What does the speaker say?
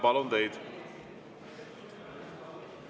Palun teid!